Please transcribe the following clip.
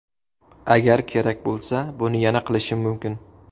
Agar kerak bo‘lsa, buni yana qilishim mumkin.